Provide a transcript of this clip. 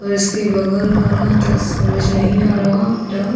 पर इसके बगल वाला तो समज नही आरा फिलहाल --